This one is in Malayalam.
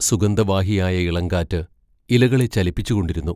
സുഗന്ധ വാഹിയായ ഇളങ്കാറ് ഇലകളെ ചലിപ്പിച്ചുകൊണ്ടിരുന്നു.